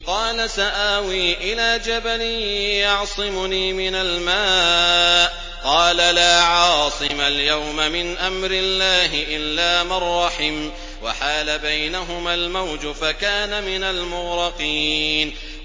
قَالَ سَآوِي إِلَىٰ جَبَلٍ يَعْصِمُنِي مِنَ الْمَاءِ ۚ قَالَ لَا عَاصِمَ الْيَوْمَ مِنْ أَمْرِ اللَّهِ إِلَّا مَن رَّحِمَ ۚ وَحَالَ بَيْنَهُمَا الْمَوْجُ فَكَانَ مِنَ الْمُغْرَقِينَ